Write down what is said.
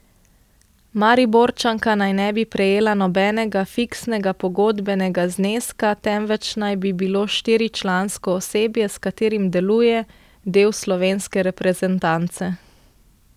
Mariborčanka naj ne bi prejela nobenega fiksnega pogodbenega zneska, temveč naj bi bilo štiričlansko osebje, s katerim deluje, del slovenske reprezentance.